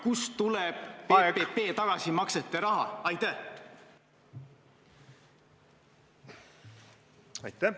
Kust tuleb PPP tagasimaksete raha?